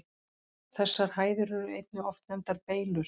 Þessar hæðir eru einnig oft nefndar Beylur.